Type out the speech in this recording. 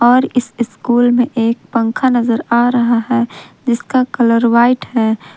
और इस स्कूल में एक पंखा नजर आ रहा है जिसका कलर व्हाइट है।